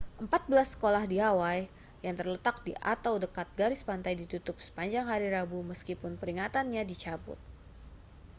empat belas sekolah di hawaii yang terletak di atau dekat garis pantai ditutup sepanjang hari rabu meskipun peringatannya dicabut